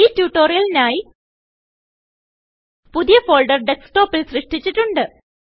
ഈ ട്യൂട്ടോറിയലിനായി പുതിയ ഫോൾഡർ ഡെസ്ക്ടോപിൽ സൃഷ്ടിച്ചിട്ടുണ്ട്